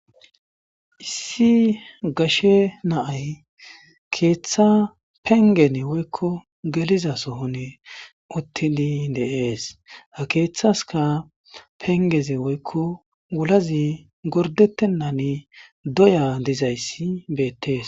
issi gashe naay keeththa pengene woykko geliza sohon uttini deees ha keeththaska pengeze woykko wulazi gordettennani doya dizayssi beettees